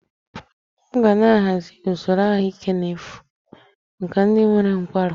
M ga na-ahazi usoro ahụike n'efu maka ndị nwere nkwarụ